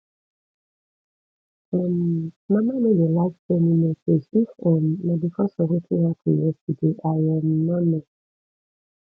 um mama no dey like send me message if um na because of wetin happen yesterday i um no know